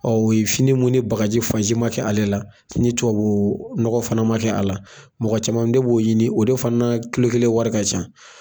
ye fini mun ni bagaji fansi ma kɛ ale la ni tubabunɔgɔ fana ma kɛ a la mɔgɔ caman de b'o ɲini o de fana kelen wari ka can.